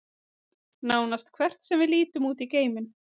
nánast hvert sem við lítum út í geiminn